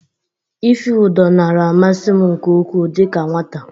Ife ụdọ nara amasị m nke ukwu dịka nwata.